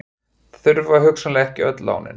Þurfa hugsanlega ekki öll lánin